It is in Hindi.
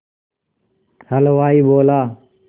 हलवाई बोला